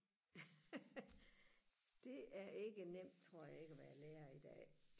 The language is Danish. det er ikke nemt tror jeg ikke og være lærer i dag